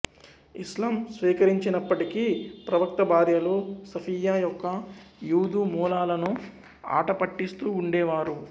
ఇస్లాం స్వీకరించినప్పటికీ ప్రవక్త భార్యలు సఫియ్యా యొక్క యూదు మూలాలను ఆటపట్టిస్తూ ఉండేవారు